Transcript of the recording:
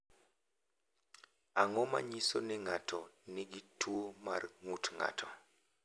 Ang’o ma nyiso ni ng’ato nigi tuwo mar ng’ut ng’ato?